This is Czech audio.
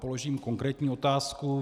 Položím konkrétní otázku.